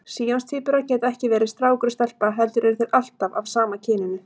Síamstvíburar geta ekki verið strákur og stelpa heldur eru þeir alltaf af sama kyninu.